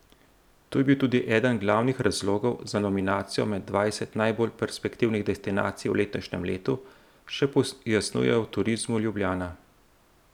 To je bil tudi eden glavnih razlogov za nominacijo med dvajset najbolj perspektivnih destinacij v letošnjem letu, še pojasnjujejo v Turizmu Ljubljana.